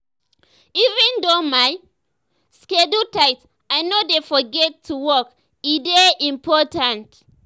even though my schedule tight i no dey forget to walk e dey important.